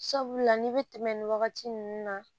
Sabula n'i bɛ tɛmɛ nin wagati ninnu na